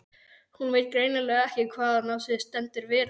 Hún veit greinilega ekki hvaðan á sig stendur veðrið.